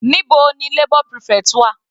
Níbo ni labour prefect wà?